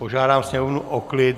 Požádám sněmovnu o klid.